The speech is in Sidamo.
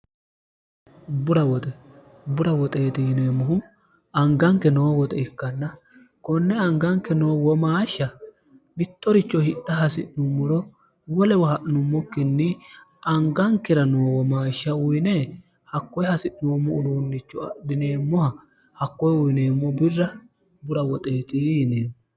burwoxebura woxeexi yineemmohu anganke noo woxe ikkanna konne anganke noo womaashsha mittoricho hidha hasi'nummoro wo lewa ha'nummokkinni angankira noo womaashsha uyine hakkoye hasi'noommo uluunnicho adhineemmoha hakkoye uyineemmo birra bura woxeexi yineemmo